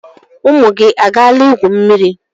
Ụmụ gị agaala igwu mmiri?